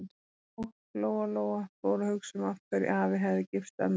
Og Lóa-Lóa fór að hugsa um af hverju afi hefði gifst ömmu.